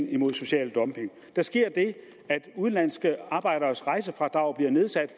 imod social dumping der sker det at udenlandske arbejderes rejsefradrag bliver nedsat